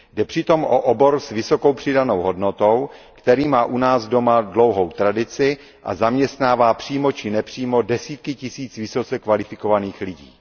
Jde přitom o obor s vysokou přidanou hodnotou, který má u nás doma dlouhou tradici a zaměstnává přímo či nepřímo desítky tisíc vysoce kvalifikovaných lidí.